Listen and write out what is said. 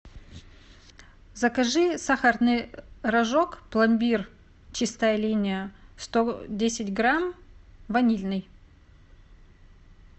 закажи сахарный рожок пломбир чистая линия сто десять грамм ванильный